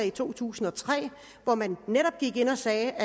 i to tusind og tre hvor man netop gik ind og sagde